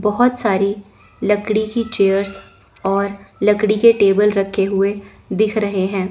बहोत सारी लकड़ी की चेयर्स और लड़की के टेबल रखे हुए दिख रहे हैं।